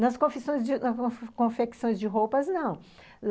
Nas confissões de, nas confecções de roupas, não.